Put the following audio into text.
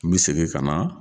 N bi segin ka na